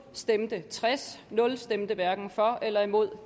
stemte tres hverken for eller imod